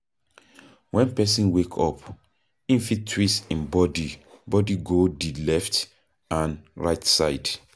when person wake up, im fit twist im body body go di left and right side